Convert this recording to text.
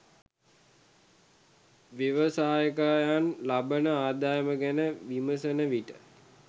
ව්‍යවසායකයන් ලබන ආදායම ගැන විමසන විට